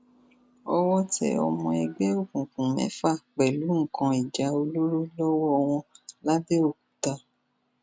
owó tẹ ọmọ ẹgbẹ òkùnkùn mẹfà pẹlú nǹkan ìjà olóró lọwọ wọn lápbẹọkúta